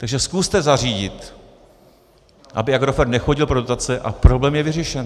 Takže zkuste zařídit, aby Agrofert nechodil pro dotace, a problém je vyřešen.